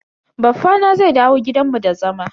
Baffa na zai dawo gidan mu da zama.